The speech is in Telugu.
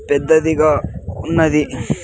పెద్దదిగా ఉన్నది.